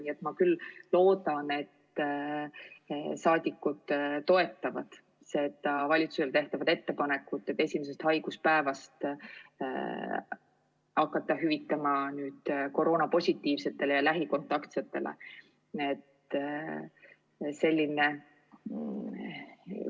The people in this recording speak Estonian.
Nii et ma küll loodan, et saadikud toetavad valitsusele tehtavat ettepanekut hakata esimesest haiguspäevast peale koroonapositiivsetele ja lähikontaktsetele hüvitist maksma.